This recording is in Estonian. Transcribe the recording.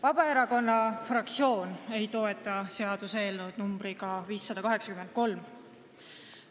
Vabaerakonna fraktsioon ei toeta seaduseelnõu, mis kannab numbrit 583.